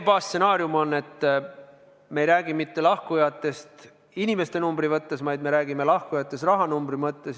Me ei räägi mitte lahkujatest inimeste arvu mõttes, vaid me räägime lahkujatest rahanumbri mõttes.